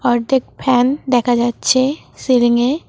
অর্ধেক ফ্যান দেখা যাচ্ছে সিলিংয়ে।